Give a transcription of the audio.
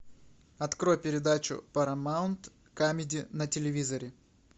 открой передачу парамаунт камеди на телевизоре